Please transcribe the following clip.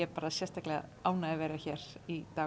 sérstaklega ánægð að vera hér í dag